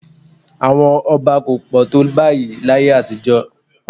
Àwọn ọba kò pọ̀ tó báyìí láyé àtijọ́